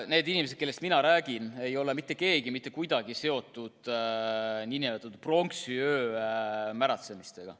Neist inimestest, kellest mina räägin, ei ole mitte keegi mitte kuidagi seotud pronksiöö märatsemistega.